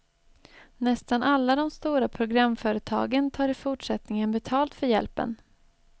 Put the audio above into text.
Nästan alla de stora programföretagen tar i fortsättningen betalt för hjälpen.